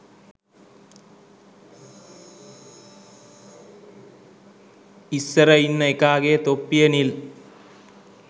ඉස්සර ඉන්න එකාගෙ තොප්පිය නිල්